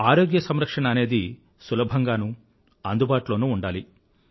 ఆరోగ్య సంరక్షణ అనేది సులభంగానూ అందుబాటులోనూ ఉండాలి